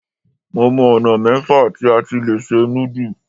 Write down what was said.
Mo mọ ọ̀nà mẹ́fà tí a ti lè se núdù.